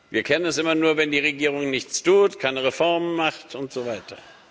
Wir kennen das immer nur, wenn die Regierung nichts tut, keine Reformen macht und so weiter.